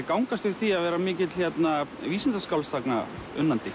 gangast við því að vera mikill